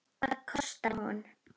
Hvað kostar hún?